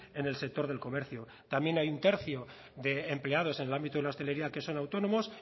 en el sector del comercio también hay un tercio de empleados en el ámbito de la hostelería que son autónomos